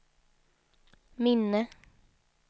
minne